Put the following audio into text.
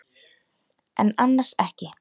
En annars ekki.